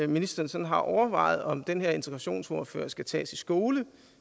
ministeren sådan har overvejet om den her integrationsordfører skal tages i skole